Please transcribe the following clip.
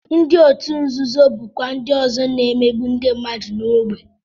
Ndị otu nzuzo bụkwa ndị ọzọ na-emegbu ndị mmadụ n'ógbè